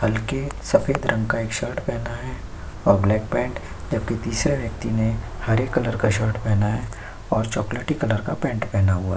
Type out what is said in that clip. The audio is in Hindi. हलके सफ़ेद रंग का एक शर्ट पहना है और ब्लैक पैन्ट जब की तीसरे व्यक्ति ने हरे कलर का शर्ट पहना है और चॉकलेटी कलर का पैंट पहना हुआ --